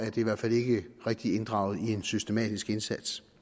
i hvert fald ikke rigtig er inddraget i en systematisk indsats